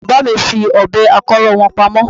Bàbá mi fi Ọ̀bẹ akọ́rọ́ wọn pamọ́